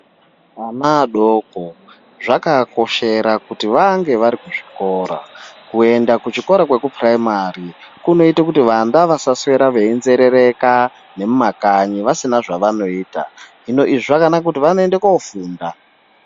Ana adoko zvakavakoshera kuti vange vari kuchikora. Kuenda kuchikora chepuraimari kunoita kuti ana asaswere einzerereka mumakanyi vasina zvavanoita hino izvi zvakanaka ngekuti vanoende koofunda.